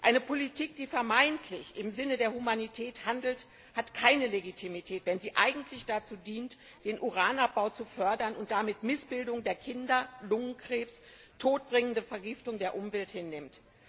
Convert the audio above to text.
Eine Politik, die vermeintlich im Sinne der Humanität handelt, hat keine Legitimität, wenn sie eigentlich dazu dient, den Uranabbau zu fördern und dabei Missbildungen bei Kindern, Lungenkrebs und die todbringende Vergiftung der Umwelt hinnimmt.